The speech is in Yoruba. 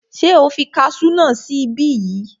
Ṣé o fi kasú náà sí ibí yìí?